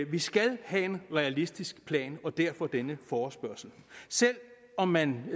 vi skal have en realistisk plan og derfor denne forespørgsel selv om man